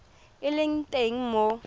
e e leng teng mo